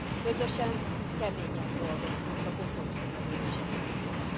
Közösen, keményen dolgoztuk a kompromisszum elérése érdekében.